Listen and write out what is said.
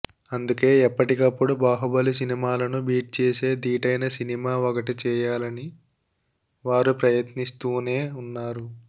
అందుకే ఎప్పటికప్పుడు బాహుబలి సినిమాలను బీట్ చేసే ధీటైన సినిమా ఒకటి చేయాలని వారు ప్రయత్నిస్తూనే ఉన్నారు